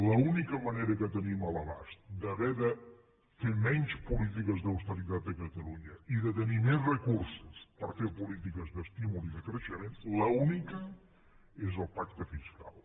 l’única manera que tenim a l’abast d’haver de fer menys polítiques d’austeritat a catalunya i de tenir més recursos per fer polítiques d’estímul i de creixement l’única és el pacte fiscal